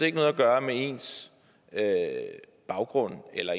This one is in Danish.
ikke noget at gøre med ens baggrund eller